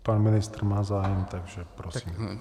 Pan ministr má zájem, takže prosím.